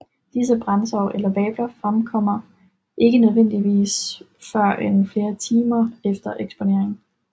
Disse brandsår eller vabler fremkommer ikke nødvendigvis førend flere timer efter eksponering